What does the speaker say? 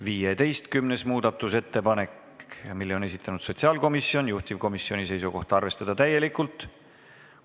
15. muudatusettepaneku on esitanud sotsiaalkomisjon, juhtivkomisjoni seisukoht on arvestada seda täielikult.